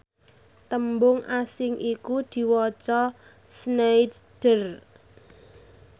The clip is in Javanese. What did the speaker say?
tembung asing iku diwaca sneijder